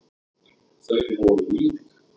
Þau voru lík.